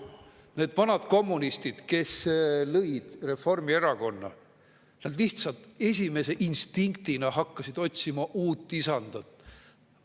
Need vanad kommunistid, kes lõid Reformierakonna, hakkasid esimese instinkti ajel lihtsalt otsima uut isandat.